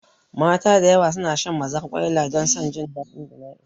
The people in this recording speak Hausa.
Mata da yawa suna shan mazarƙwaila don san ɗadin jima'i